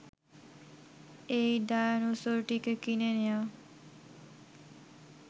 এই ডায়নোসরটিকে কিনে নেয়া